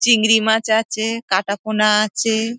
চিংড়ি মাছ আছে কাটাপোনা আছে।